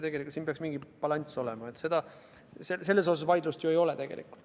Tegelikult peaks siin mingisugune balanss olema, selles osas vaidlust ei ole.